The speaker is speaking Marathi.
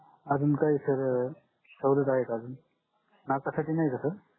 अजून काही sir सवलत आहे का अजून नाका साठी नाय का sir